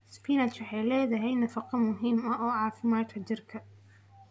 Spinachi waxay leedahay nafaqo muhiim ah oo caafimaadka jirka.